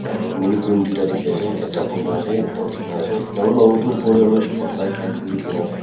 aru minu khan dui ta dikhi ase ekta bohina ase ekta uthi ke na ase aru lo etu upar teh roof pot light light khan be dikhi na ase.